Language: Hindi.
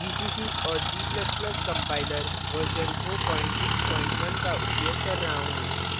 gcc और g ++ compiler version 461 का उपयोग कर रहा हूँ